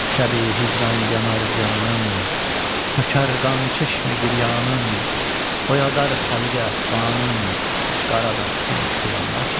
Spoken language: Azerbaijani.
Şəbi hicran yanar canım, tökər qan çeşmi giryanım, oyadar xəlqi əfxanım, qarabəxtim oyanmazmı?